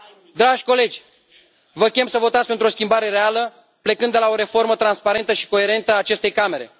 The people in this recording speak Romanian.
Dragi colegi, vă chem să votați pentru o schimbare reală, plecând de la o reformă transparentă și coerentă a acestei Camere.